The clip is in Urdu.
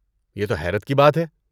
یہ تو حیرت کی بات ہے!